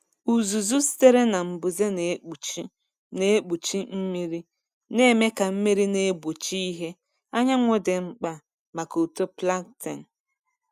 Uzuzu sitere na mbuze na-ekpuchi na-ekpuchi mmiri, na-eme ka mmiri na-egbochi ìhè anyanwụ dị mkpa maka uto plankton.